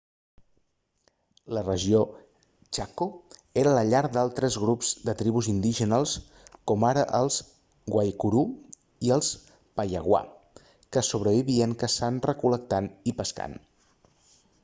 la regió chaco era la llar d'altres grups de tribus indígenes com ara els guaycurú i els payaguá que sobrevivien caçant recol·lectant i pescant